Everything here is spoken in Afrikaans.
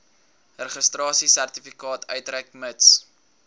registrasiesertifikaat uitreik mits